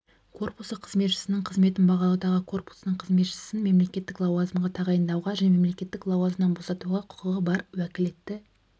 корпусы қызметшісінің қызметін бағалауды корпусының қызметшісін мемлекеттік лауазымға тағайындауға және мемлекеттік лауазымнан босатуға құқығы бар уәкілетті